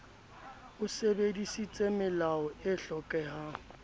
o sebedisitse melao e hlokehang